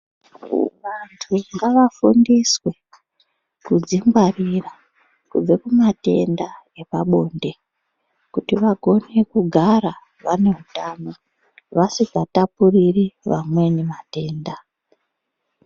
Vantu ngava fundiswe kudzi ngwarira kubve ku matenda zvepa bonde kuti vagone kugara vane utano vasika tapuriri vamweni vatenda.